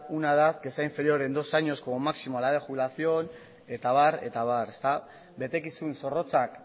una edad que sea inferior en dos años como máximo a la edad de jubilación eta abar eta abar betekizun zorrotzak